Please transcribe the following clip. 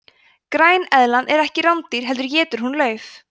græneðlan er ekki rándýr heldur étur hún lauf